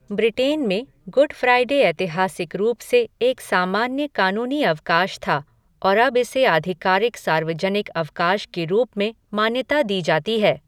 Britain में, Good Friday ऐतिहासिक रूप से एक सामान्य कानूनी अवकाश था और अब इसे आधिकारिक सार्वजनिक अवकाश के रूप में मान्यता दी जाती है।